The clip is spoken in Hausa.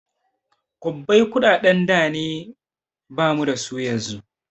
Kwabbai kuɗaɗen da ne bamu dasu yanzu